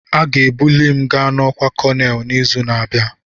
Aga-ebuli m ga n'ọkwa Kolonel n'izu na-abịa